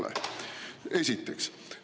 Seda esiteks.